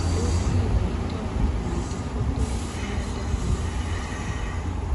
Tos kikoitoo multifocal motor neuropathy